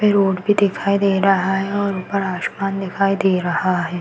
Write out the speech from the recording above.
Road वी दिखाई दे रहा है और ऊपर आसमान दिखाई दे रहा है।